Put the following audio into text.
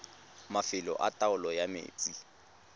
mafelo a taolo ya metsi